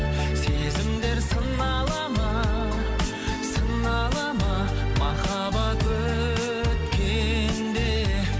сезімдер сынала ма сынала ма махаббат өткенде